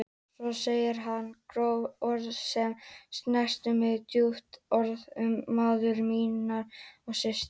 Svo sagði hann gróf orð sem snertu mig djúpt, orð um móður mína og systur.